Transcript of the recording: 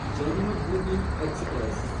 Janmabhoomi express